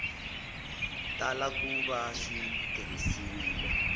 tala ku va swi tirhisiwile